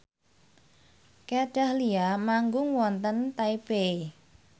Kat Dahlia manggung wonten Taipei